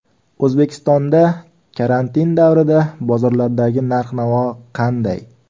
O‘zbekistonda karantin davrida bozorlardagi narx-navo qanday?